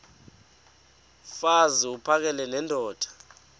mfaz uphakele nendoda